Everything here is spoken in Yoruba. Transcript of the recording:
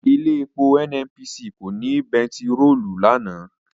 Ilé epo NNPC kò ní bẹntiròòlù lánàá.